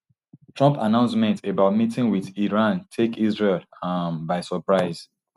trump announcement about meeting wit iran take israel um by surprise